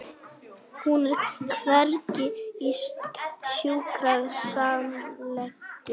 Brestur í gólffjölunum einsog í jörðinni þegar nýfallinn er fyrsti snjórinn á haustin.